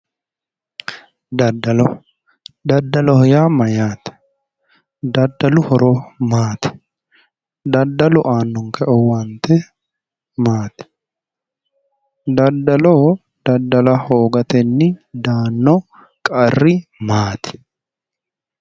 daddalo daddaloho yaa mayyaate? daddalu horo maati? daddalu aannonke owaante maati? daddalo daddala hoogatenni daanno qarri maati.